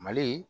Mali